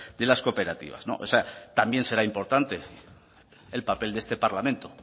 de las cooperativas no también será importante el papel de este parlamento